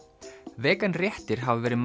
vegan réttir hafa verið